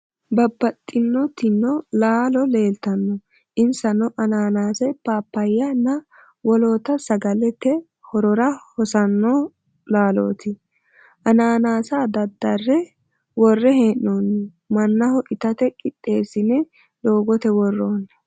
Babbaxinotino laalo leeltanno insano anaanàase, paappaayya nna wolootta sagalla te horora hossanno laalooti. anaanaase daddarre worre hee'noonni. Mannaho itate qixxeessine doogote worroonni.